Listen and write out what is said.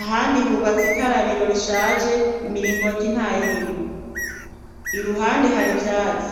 ahandi hubatsa ik arabiro rishaje imiringo oto nta yoirimwo i ruhande hari vyatsi.